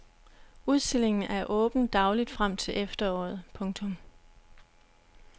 Udstillingen er åben dagligt frem til efteråret. punktum